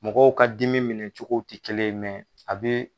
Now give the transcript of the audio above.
Mɔgɔw ka dimi minɛ cogo tɛ kelen ye mɛn a bɛ.